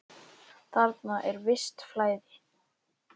Þarna er visst flæði.